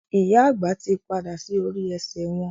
ìyá àgbà tí pàdà sí orí esè wón.